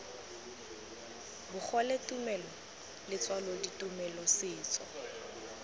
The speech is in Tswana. bogole tumelo letswalo ditumelo setso